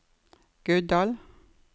Guddal